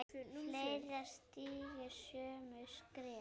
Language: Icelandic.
Fleiri stígi sömu skref?